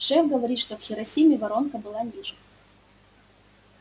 шеф говорит что в хиросиме воронка была ниже